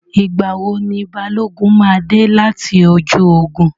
Ìgbà wo ni Balógun máa dé láti ojú ogun?